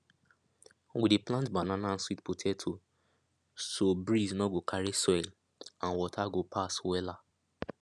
we dey plant banana and sweet potato so breeze nor go carry soil and water go pass wella